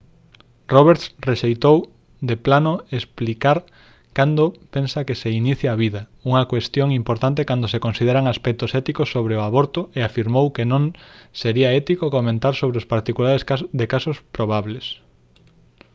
roberts rexeitou de plano explicar cando pensa que se inicia a vida unha cuestión importante cando se consideran aspectos éticos sobre o aborto e afirmou que non sería ético comentar sobre os particulares de casos probables